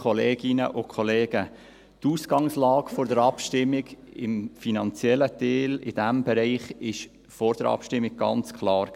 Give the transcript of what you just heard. Die Ausgangslage war im finanziellen Teil, in diesem Bereich, vor der Abstimmung ganz klar.